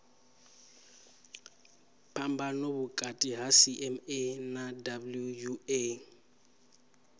phambano vhukati ha cma na wua